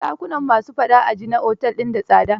Dakunan ma su faɗa a ji na otel din da tsada?